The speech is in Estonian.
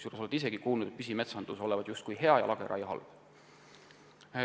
Olete ehk isegi kuulnud, et püsimetsandus olevat justkui hea ja lageraie halb.